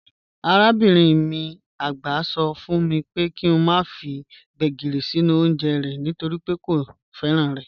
Arabinrin mi àgbà sọ fún mi pé kí n má ṣe fi Gbegírí sínú oúnjẹ rẹ̀ nítorí pé kò fẹ́ràn rẹ̀.